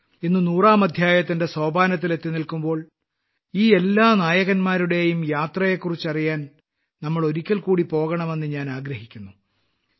ഇന്ന് നൂറാം അദ്ധ്യായത്തിന്റെ സോപാനത്തിൽ എത്തിനിൽക്കുമ്പോൾ ഈ എല്ലാ നായകന്മാരുടെയും യാത്രയെക്കുറിച്ച് അറിയാൻ നമ്മൾ ഒരിക്കൽ കൂടി പോകണമെന്ന് ഞാൻ ആഗ്രഹിക്കുന്നു